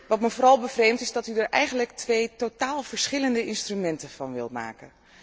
Wat me vooral bevreemdt, is dat u er eigenlijk twee totaal verschillende instrumenten van wilt maken.